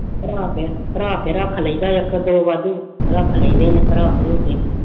ਭਰਾ ਕੇ ਭਰਾ ਕੇ ਰੱਖ ਲਈਦਾ ਇੱਕ ਦੋ ਵਾਧੂ ਰੱਖ ਲਈਦੇ ਨੇ ਭਰਾ ਭਰੂ ਕੇ।